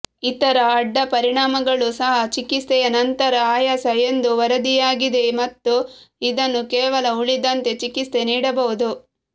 ಇತರ ಅಡ್ಡಪರಿಣಾಮಗಳು ಸಹ ಚಿಕಿತ್ಸೆಯ ನಂತರ ಆಯಾಸ ಎಂದು ವರದಿಯಾಗಿದೆ ಮತ್ತು ಇದನ್ನು ಕೇವಲ ಉಳಿದಂತೆ ಚಿಕಿತ್ಸೆ ನೀಡಬಹುದು